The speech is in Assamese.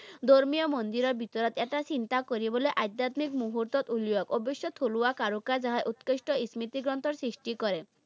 ধৰ্মীয় মন্দিৰৰ ভিতৰত এটা চিন্তা কৰিবলৈ আধ্যাত্মিক মূহুৰ্তত উলিওয়াক। অৱশ্যে থলুৱা কাৰু কাজ উৎকৃষ্ট স্মৃতিগ্ৰন্থৰ সৃষ্টি কৰে।